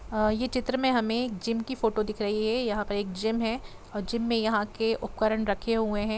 अह ये चित्र में हमे एक जिम की फोटो दिख रही है यह पर एक जिम है और जिम में यहाँ के उपकरण रखे हुए है।